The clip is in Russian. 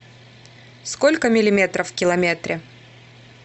сколько миллиметров в километре